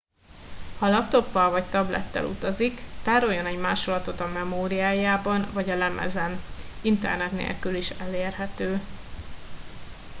ha laptoppal vagy tablettel utazik tároljon egy másolatot a memóriájában vagy a lemezen internet nélkül is elérhető